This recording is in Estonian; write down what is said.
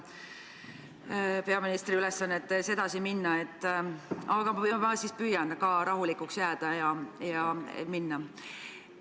Kuidagi jube raske on edasi minna sellisel emotsionaalsel pinnal, mille härra siseminister peaministri ülesannetes siin saalis just hiljuti üles küttis, aga ma püüan rahulikuks jääda ja seda teha.